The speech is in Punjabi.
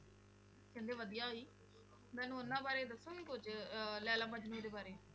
ਕਹਿੰਦੇ ਵਧੀਆ ਸੀ, ਮੈਨੂੰ ਉਹਨਾਂ ਬਾਰੇ ਦੱਸੋਗੇ ਕੁੱਝ ਅਹ ਲੈਲਾ ਮਜਨੂੰ ਦੇ ਬਾਰੇ?